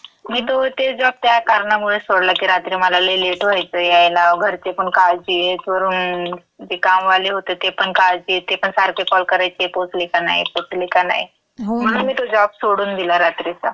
मी तो ते जॉब त्या कारणामुळेच सोडला की रात्री मला लई लेट व्हायचं यायला, घरचेपण काळजीत वरुन ते कामवाले होती ते पण काळजीत. ते पण सारखे कॉल करायचे, पोहचली की नाही? पोहचली का नाही? म्हणून मी तो जॉब सोडून दिला रात्रीचा. हो ना.